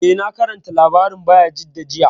Eh, na karanta labarin Bayajidda jiya